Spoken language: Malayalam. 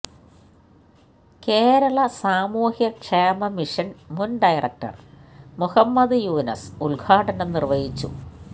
കേരള സാമൂഹ്യ ക്ഷേമ മിഷൻ മുൻ ഡയറക്ടർ മുഹമ്മദ് യൂനസ് ഉദ്ഘാടനം നിർവഹിച്ചു